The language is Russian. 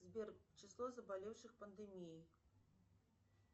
сбер число заболевших пандемией